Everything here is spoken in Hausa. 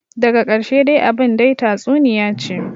Daga karshe dai abin dai tatsuniyace ce,